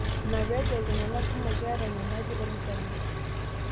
Ina pee ejo iltung'ana kumok keeta enyamali olkishamiet.